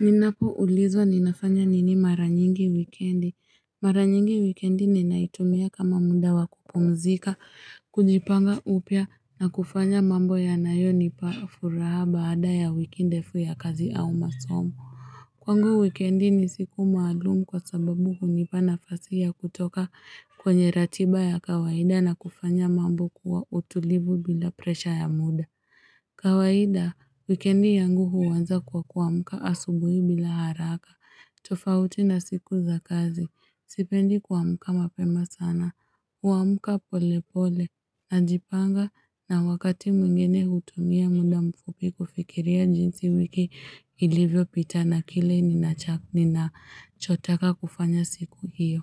Ninapoulizwa ninafanya nini mara nyingi wikendi. Mara nyingi wikendi ninaitumia kama muda wa kupumzika, kujipanga upya na kufanya mambo yanayonipa furaha baada ya wiki ndefu ya kazi au masomo. Kwangu wikendi ni siku maalumu kwa sababu hunipa nafasi ya kutoka kwenye ratiba ya kawaida na kufanya mambo kwa utulivu bila presha ya muda. Kawaida, wikendi yangu huanza kwa kuamka asubuhi bila haraka. Tofauti na siku za kazi, sipendi kuamka mapema sana. Huamka pole pole najipanga na wakati mwingine hutumia muda mfupi kufikiria jinsi wiki ilivyopita na kile ninachotaka kufanya siku hiyo.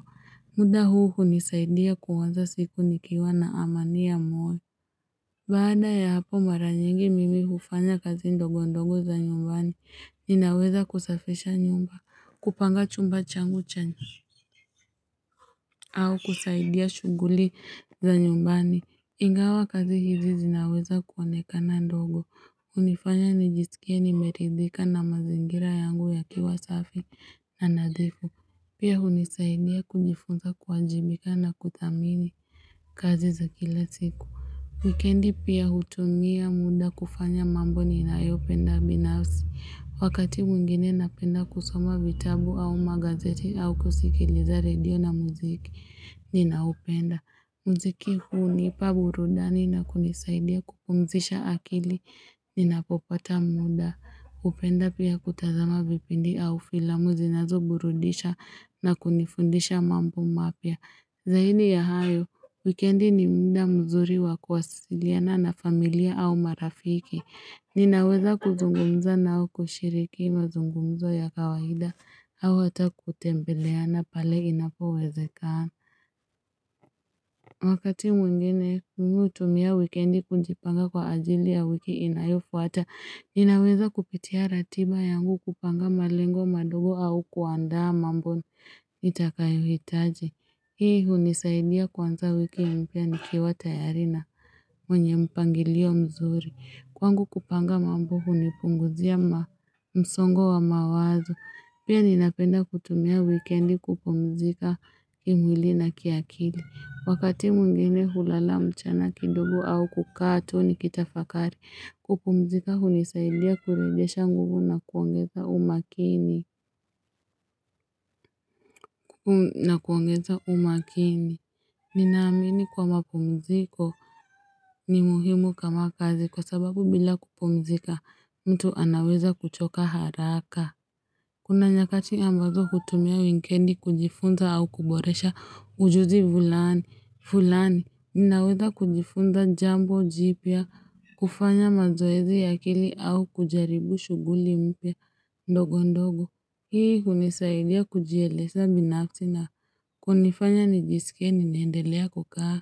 Muda huu hunisaidia kuanza siku nikiwa na amani ya moyo. Baada ya hapo mara nyingi mimi hufanya kazi ndogo ndogo za nyumbani. Ninaweza kusafisha nyumba, kupanga chumba changu cha au kusaidia shughuli za nyumbani. Ingawa kazi hizi zinaweza kuonekana ndogo, hunifanya nijisikie nimeridhika na mazingira yangu yakiwa safi na nadhifu. Pia hunisaidia kujifunza kuwajibika na kuthamini kazi za kila siku. Wikendi pia hutumia muda kufanya mambo ninayopenda binafsi. Wakati mwingine napenda kusoma vitabu au magazeti au kusikiliza redio na muziki ninaopenda. Muziki hunipa burudani na kunisaidia kupumzisha akili ninapopata muda. Hupenda pia kutazama vipindi au filamu zinazoburudisha na kunifundisha mambo mapya. Zaidi ya hayo, wikendi ni muda mzuri wa kuwasiliana na familia au marafiki. Ninaweza kuzungumza nao, kushiriki mazungumzo ya kawaida, au hata kutembeleana pale inapowezekana. Wakati mwingine mimi hutumia wikendi kujipanga kwa ajili ya wiki inayofuata. Ninaweza kupitia ratiba yangu kupanga malengo madogo au kuandaa mambo nitakayohitaji. Hii hunisaidia kuanza wiki mpya nikiwa tayari na mwenye mpangilio mzuri. Kwangu kupanga mambo hunipunguzia msongo wa mawazo. Pia ninapenda kutumia wikendi kupumzika kimwili na kiakili. Wakati mwingine hulala mchana kidogo au kukaa tu nikitafakari. Kupumzika hunisaidia kurejesha nguvu na kuongeza umakini. Na kuongeza umakini Ninaamini kuwa mapumziko ni muhimu kama kazi kwa sababu bila kupumzika mtu anaweza kuchoka haraka Kuna nyakati ambazo hutumia wikendi kujifunza au kuboresha ujuzi fulani fulani. Ninaweza kujifunza jambo jipya, kufanya mazoezi ya akili au kujaribu shughuli mpya ndogo ndogo. Hii hunisaidia kujieleza binafsi na kunifanya nijisikie ninaendelea kukaa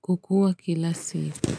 kukua kila siku.